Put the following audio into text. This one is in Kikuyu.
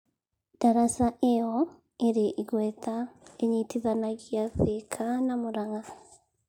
Daraca ĩyo ĩrĩ igweta ĩnyitithanagia Thĩka na Mũrang'a.